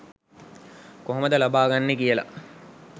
කොහොමද ලබා ගන්නෙ කියලා